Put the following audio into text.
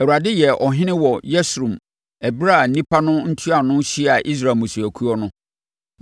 Awurade yɛɛ ɔhene wɔ Yeshurun ɛberɛ a nnipa no ntuanofoɔ hyiaa Israel mmusuakuo no.